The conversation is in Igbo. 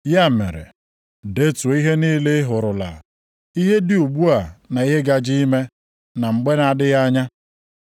“Ya mere, detuo ihe niile ị hụrụla, ihe dị ugbu a na ihe gaje ime na mgbe na adịghị anya.